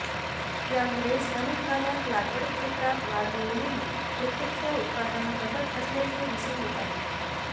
यामुळेच अनेक भागात लागवड क्षेत्रात वाढ होऊनही प्रत्यक्ष उत्पादन घटत असल्याचे दिसून येत आहे